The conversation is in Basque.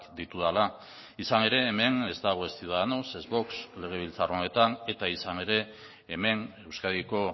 ditudala izan ere hemen ez dago ez ciudadanos ez vox legebiltzar honetan eta izan ere hemen euskadiko